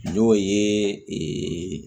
N'o ye